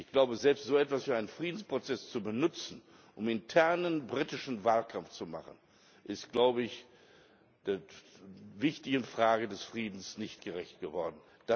Ich glaube, selbst so etwas für einen Friedensprozess zu benutzen, um internen britischen Wahlkampf zu machen, ist der wichtigen Frage des Friedens nicht gerecht geworden.